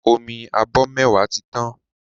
Omi abọ mẹwa tí tàn